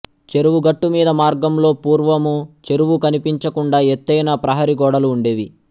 చెరువు గట్టుమీద మార్గంలో పూర్వము చెరువు కనిపించకుండా ఎత్తైన ప్రహరీ గోడలు ఉండేవి